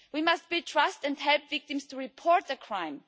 We must build trust and help victims to report the crime.